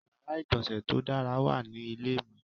Ìyàrá-ìgbọ̀nsẹ̀ tó dára wà ní ilé mi.